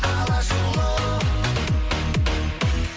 алашұлы